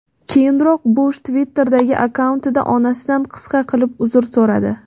Keyinroq Bush Twitter’dagi akkauntida onasidan qisqa qilib uzr so‘radi.